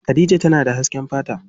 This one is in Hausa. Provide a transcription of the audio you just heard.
Khadija tana da hasken fata.